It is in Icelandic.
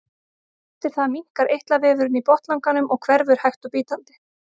eftir það minnkar eitlavefurinn í botnlanganum og hverfur hægt og bítandi